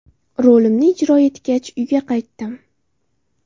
Rolimni ijro etgach, uyga qaytdim.